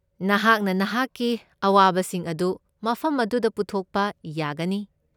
ꯅꯍꯥꯛꯅ ꯅꯍꯥꯛꯀꯤ ꯑꯋꯥꯕꯁꯤꯡ ꯑꯗꯨ ꯃꯐꯝ ꯑꯗꯨꯗ ꯄꯨꯊꯣꯛꯄ ꯌꯥꯒꯅꯤ꯫